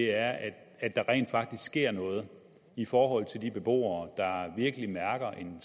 er at der rent faktisk sker noget i forhold til de beboere der virkelig mærker en